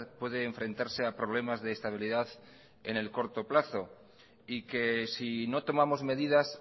puede enfrentarse a problemas de estabilidad en el corto plazo y que si no tomamos medidas